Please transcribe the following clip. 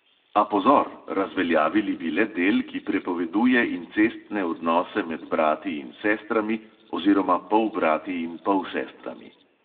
A pozor, razveljavili bi le del, ki prepoveduje incestne odnose med brati in sestrami oziroma polbrati in polsestrami.